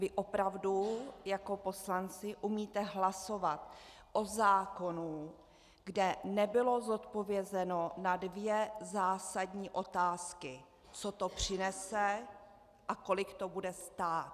Vy opravdu jako poslanci umíte hlasovat o zákonu, kde nebylo zodpovězeno na dvě zásadní otázky - co to přinese a kolik to bude stát?